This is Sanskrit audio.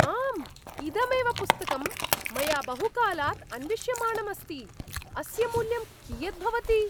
आम्! इदमेव पुस्तकं मया बहुकालात् अन्विष्यमाणम् अस्ति। अस्य मूल्यं कियत् भवति?